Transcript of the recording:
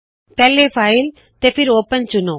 ਪਹਲੇ ਫ਼ਾਇਲ ਤੇ ਫੇਰ ਓਪਨ ਚੁਣੇ